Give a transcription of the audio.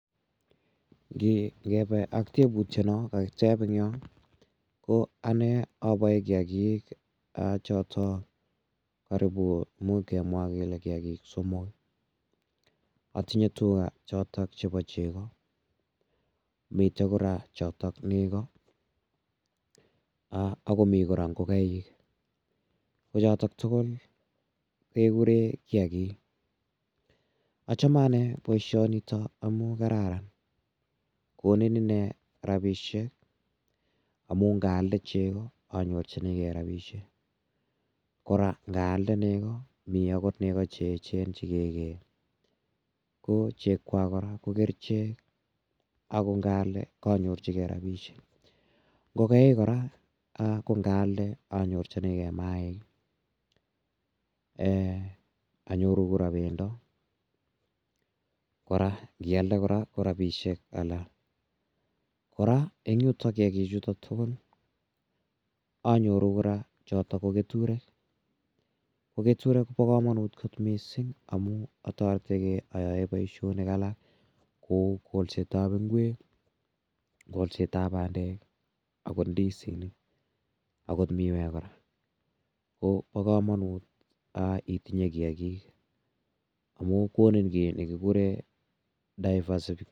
Ngepe ak teputiano kakitep en yo ko ane apae kiakiik chotok karipu, imuch kemwa kele kiakiik somok. Atinye tuga chotok chepo cheko. Mitei kora chitok nego ako mi kora ngokaik. Ko chotok tugul kekure kiakiik. Achame ane poishonitok amun kararan. Konin ine rapishek amu ngaalde cheko anyorchinigei rapishek. Kora ngaalde nego, mi agot nego che echen che ke kee, ko chekwak kora ko kerichek ako ngaalde anyorchigei kora rapishek. Ngokaik kora ko ngaalde anyorchinigei maaik. Anyoru kora pendo kora, ngialde kora ko rapishek alak. Kora eng' yutok kiakichutok tugul kora anyoru kora chotok ko keturek. Ko keturet ko pa kamanut missing' amu atarete gei ayae poishonik alak kou kolset ap ngwek i, kolset ap pandek i agot ndisinik ahot miwek kora. Ko pa kamanut itinye kiakiik amu konin ki ne kikure diversification